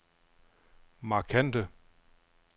markante